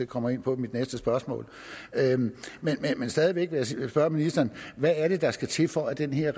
kommer ind på i mit næste spørgsmål men stadig væk vil jeg spørge ministeren hvad er det der skal til for at den her